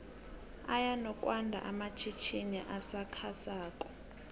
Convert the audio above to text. aya nokwando amatjhitjini asakha sako